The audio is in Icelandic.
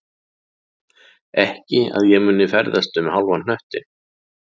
Ekki að ég myndi ferðast um hálfan hnöttinn